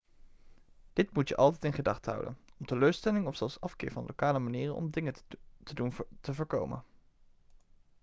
dit moet je altijd in gedachten houden om teleurstellingen of zelfs afkeer van lokale manieren om dingen te doen te voorkomen